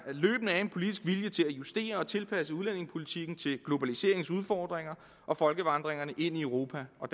er en politisk vilje til at justere og tilpasse udlændingepolitikken til globaliseringens udfordringer og folkevandringerne ind i europa og